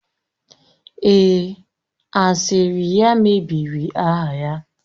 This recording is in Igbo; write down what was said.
Èè, asịrị ya mebiri aha ya